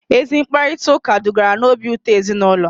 Ezi mkparịtaụka dugara n'obi ụtọ n'ezinụlọ